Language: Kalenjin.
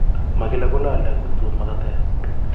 Makila kolale ako utut makatet